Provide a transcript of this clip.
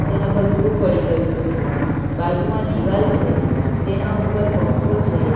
જેના પર ધૂળ પડી ગયું છે બાજુમાં દીવાલ છે તેના ઉપર પંખો છે.